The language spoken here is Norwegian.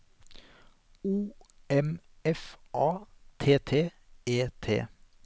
O M F A T T E T